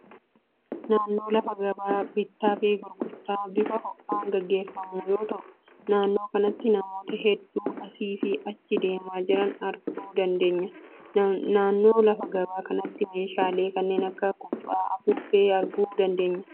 Naannoo lafa gabaa bittaa fi gurgurtaan bifa ho'aan geggeeffamu yoo ta'u, naannoo kanattis namoota hedduu asii fi achi deemaa jiran arguu dandeenya. Naannoo lafa gabaa kanattis meeshaalee kanneen akka kubbaa, afuuffeefaa arguu dandeenya.